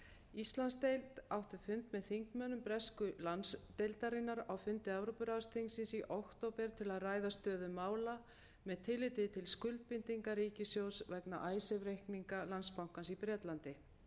íslandsdeild átti fund með þingmönnum bresku landsdeildarinnar á fundi evrópuráðsþingsins í október til að ræða stöðu mála með tilliti til skuldbindinga ríkissjóðs vegna icesave reikninga landsbankans í bretlandi